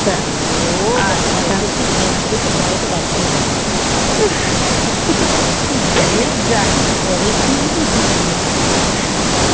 ও বাবা এসে দেখি পিয়াজ কেটেছে টমেটো বাদ চলে গেছে আমি বলছি কি হ্যা রে তুই কবে শিখবি তুই রান্না